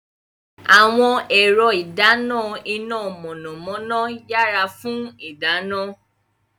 Àwọn ẹ̀rọ ìdáná iná mọ̀nàmọ́ná yára fún ìdáná.